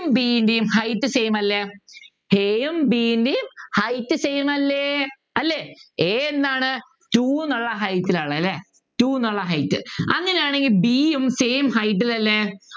b ൻ്റെ height same അല്ലെ a യും b ൻ്റെയും b ൻ്റെയും height same അല്ലെ അല്ലെ a എന്താണ് two ന്നുള്ള height ല അല്ലെ two ന്നുള്ള height അങ്ങനെയാണെങ്കിൽ b യും same height ൽ അല്ലെ